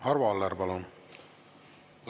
Arvo Aller, palun!